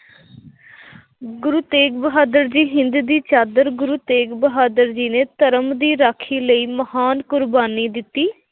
ਗੁਰੂ ਤੇਗ ਬਹਾਦਰ ਜੀ, ਹਿੰਦ ਦੀ ਚਾਦਰ ਗੁਰੂ ਤੇਗ਼ ਬਹਾਦਰ ਜੀ ਨੇ ਧਰਮ ਦੀ ਰਾਖੀ ਲਈ ਮਹਾਨ ਕੁਰਬਾਨੀ ਦਿੱਤੀ।